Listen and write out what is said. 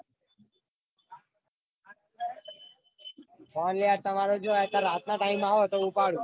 phone આ યાર તમારો જો આ રાત ના time એ આવ તો ઉપાડું.